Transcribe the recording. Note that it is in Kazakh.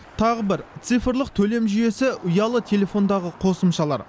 тағы бір цифрлық төлем жүйесі ұялы телефондағы қосымшалар